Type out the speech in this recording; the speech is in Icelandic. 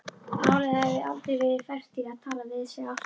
Málið hafi aldrei verið fært í tal við sig aftur.